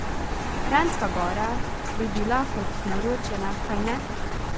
Kranjska Gora bi bila kot naročena, kajne?